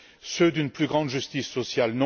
Ceux d'une plus grande justice sociale?